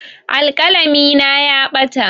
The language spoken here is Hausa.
Alƙalami na ya ɓata.